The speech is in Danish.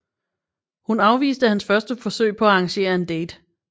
Hun afviste hans første forsøg på at arrangere en date